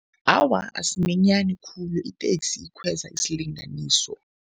Awa, asimanyani khulu. Iteksi ikhweza isilinganiso.